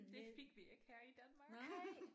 Det fik vi ikke her i Danmark